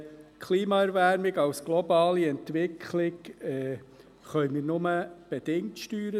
Die Klimaerwärmung als globale Entwicklung können wir nur bedingt steuern.